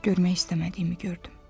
Görmək istəmədiyimi gördüm.